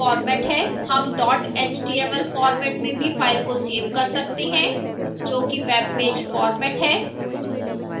हम dot html format में भी file सेव कर सकते हैं जो कि web page format है